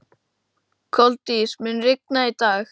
Koldís, mun rigna í dag?